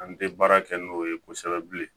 An tɛ baara kɛ n'o ye kosɛbɛ bilen